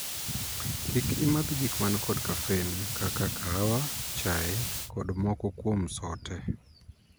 Kik imadh gik man kod 'caffeine' kaka kaawa, chae, kod moko kuom sote.